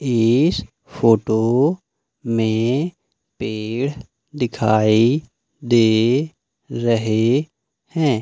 इस फोटो में पेड़ दिखाई दे रहे हैं।